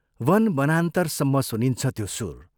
वन वनान्तरसम्म सुनिन्छ त्यो सुर